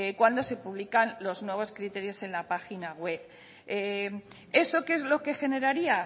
cuando se publican los nuevos criterios en la página web eso qué es lo que generaría